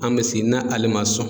An bɛ sigi n'a ale ma sɔn.